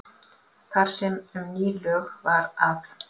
Þar sem um ný lög var að